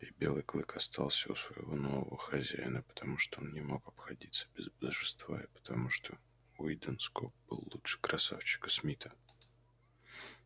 и белый клык остался у своего нового хозяина потому что он не мог обходиться без божества и потому что уидон скоп был лучше красавчика смита